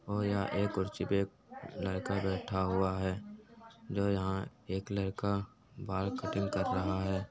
और यहाँ एक कुर्सी पे लड़का बैठा हुआ है जो यहाँ एक लड़का बाल कटिंग कर रहा है।